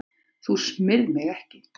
Þú smyrð mig ekki.